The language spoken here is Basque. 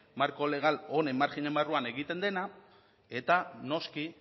marko legal honen margenen barruan egiten dena eta noski